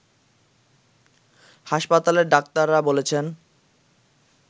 হাসপাতালের ডাক্তাররা বলেছেন